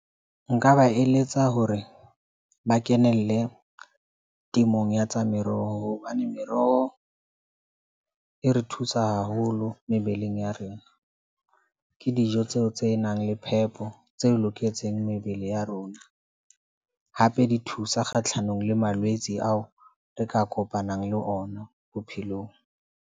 Nka ba eletsa hore ba kenelle temong ya tsa meroho, hobane meroho e re thusa haholo mebeleng ya rena. Ke dijo tseo tse nang le phepo, tse loketseng mebele ya rona. Hape di thusa kgahlanong le malwetse ao re ka kopanang le ona bophelong.